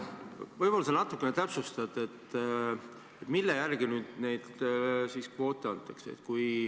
Võib-olla sa natukene täpsustad, mille järgi neid kvoote antakse.